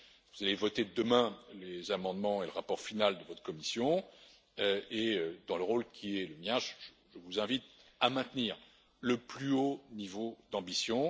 Vous allez voter demain les amendements et le rapport final de votre commission et, dans le rôle qui est le mien, je vous invite à maintenir le plus haut niveau d'ambition.